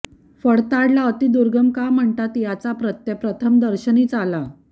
फडताडला अति दुर्गम का म्हणतात याचा प्रत्यय प्रथमदर्शनीचा आला